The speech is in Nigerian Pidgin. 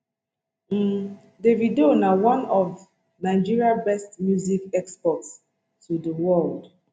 um davido na one of nigeria best music exports to di world